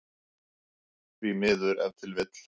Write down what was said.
Því miður ef til vill?